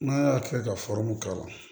N'a y'a kɛ ka k'a la